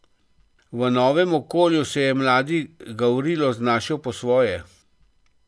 V novem okolju se je mladi Gavrilo znašel po svoje.